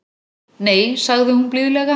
Nei sagði hún blíðlega.